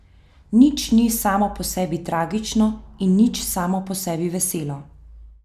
Nič ni samo po sebi tragično in nič samo po sebi veselo.